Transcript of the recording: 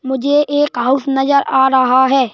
मुझे एक हाउस नजर आ रहा है।